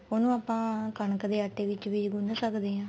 ਉਹਨੂੰ ਆਪਾਂ ਕਣਕ ਦੇ ਆਟੇ ਵਿੱਚ ਵੀ ਗੁਣ ਸਕਦੇ ਆ